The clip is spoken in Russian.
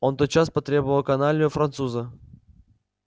он тотчас потребовал каналью француза